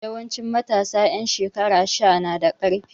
Yawanci matasa ƴan shekara sha na da ƙarfi.